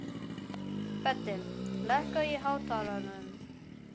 Böddi, lækkaðu í hátalaranum.